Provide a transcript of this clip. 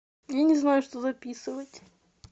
я не знаю что записывать